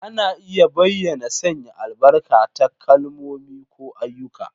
Ana iya bayyana sanya albarka ta kalmomi ko ayyuka.